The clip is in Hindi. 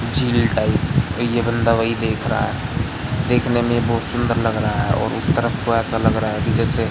झिल टाइप ये बंदा वही देख रहा है देखने में बहोत सुंदर लग रहा है और उस तरफ को ऐसा लग रहा है कि जैसे--